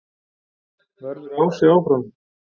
Verður Ási áfram?